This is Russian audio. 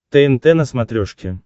тнт на смотрешке